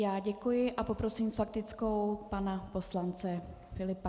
Já děkuji a poprosím s faktickou pana poslance Filipa.